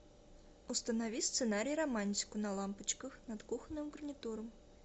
установи сценарий романтику на лампочках над кухонным гарнитуром